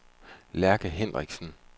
Lærke Henriksen